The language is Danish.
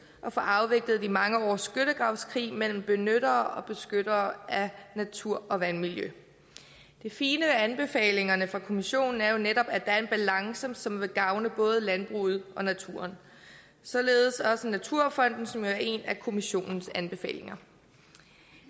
at få afviklet de mange års skyttegravskrig mellem benyttere og beskyttere af natur og vandmiljø det fine ved anbefalingerne fra kommissionen er jo netop at der er en balance som vil gavne både landbruget og naturen således også naturfonden som er en af kommissionens anbefalinger